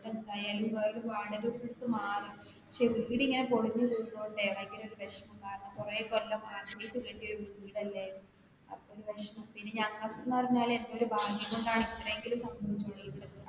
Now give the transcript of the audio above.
എന്തായാലും വേറെ ഒരു വാടക വീട് എടുത്തു മാറണം പക്ഷെ വീട് ഇങ്ങനെ പൊളിഞ്ഞു വീഴുന്നതുകൊണ്ട് വയങ്കര വിഷമം കാരണം കുറെ കൊല്ലം ആശിച്ചു കെട്ടിയ ഒരു വീട് അല്ലെ, പിന്നെ ഞങ്ങൾക്ക് എന്ന് പറഞ്ഞാൽ എന്റെ ഒരു ഭാഗ്യം കൊണ്ട് ആണ് ഇത്രേം എങ്കിലും സംഭവിച്ചൊള്ളു.